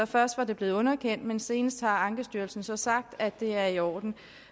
først var blevet underkendt men senest har ankestyrelsen så sagt at det er i orden